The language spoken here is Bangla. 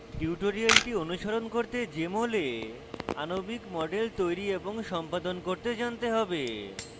tutorial অনুসরণ করতে jmol এ আণবিক models তৈরী এবং সম্পাদন করতে জানতে হবে